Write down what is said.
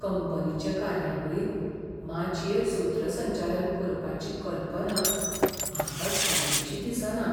कंपनीचे कार्यावळींत माचयेर सूत्रसंचालन करपाची कल्पना म्हाका सोयीची दिसना.